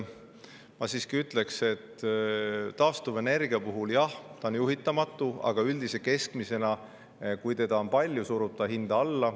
Ma siiski ütlen, et taastuvenergia on jah juhitamatu, aga üldiselt, kui seda on palju, surub see keskmist hinda alla.